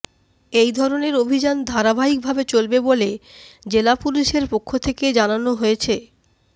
এই ধরণের অভিযান ধারাবাহিক ভাবে চলবে বলে জেলা পুলিশের পক্ষ থেকে জানানো হয়েছে